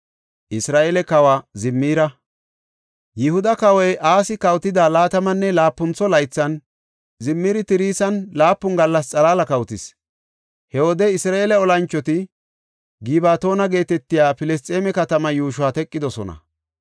Yihuda kawoy Asi kawotida laatamanne laapuntha laythan Zimiri Tirsan laapun gallasa xalaala kawotis. He wode Isra7eele olanchoti Gibatoona geetetiya Filisxeeme katamaa yuushuwa teqidosona.